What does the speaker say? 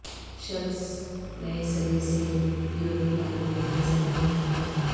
شلس نئے سرے سے یورپی پارلیمنٹ کے صدر منتخب